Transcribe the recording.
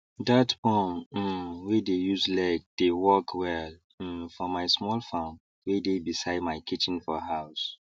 that pump um wey dey use leg dey work well um for my small farm wey dey beside my kitchen for house